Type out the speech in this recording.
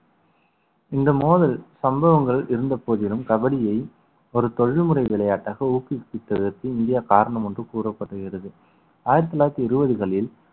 இந்த மோதல் சம்பவங்கள் இருந்த போதிலும் கபடியை ஒரு தொழில்முறை விளையாட்டாக ஊக்குவித்ததற்கு இந்தியா காரணம் என்று கூறப்படுகிறது ஆயிரத்தி தொள்ளாயிரத்தி இருபதுகளில்